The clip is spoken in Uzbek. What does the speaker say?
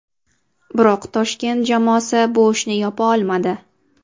Biroq Toshkent jamoasi bu ishni yopa olmadi.